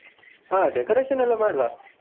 ಹಾ decoration ಎಲ್ಲಾ ಮಾಡ್ವಾ.